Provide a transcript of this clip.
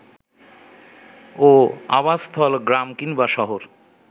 ও আবাসস্থল গ্রাম কিংবা শহর